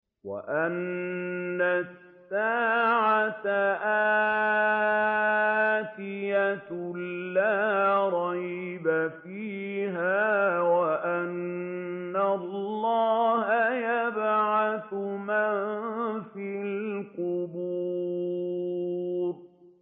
وَأَنَّ السَّاعَةَ آتِيَةٌ لَّا رَيْبَ فِيهَا وَأَنَّ اللَّهَ يَبْعَثُ مَن فِي الْقُبُورِ